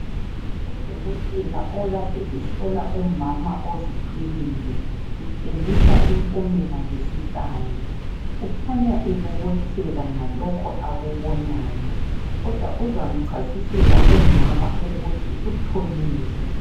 Udokotela. okade ehlola. umama ozithweleyo utshengisa impumela zesi-kani. Ukhanya ebobotheka ngalokho akutholileyo kodwa uzamchasisela umama ukuthi utholeni.